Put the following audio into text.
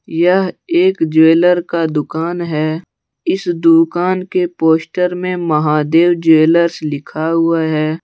यह एक ज्वेलर्स का दुकान है इस दुकान के पोस्टर में महादेव ज्वेलर्स लिखा हुआ है।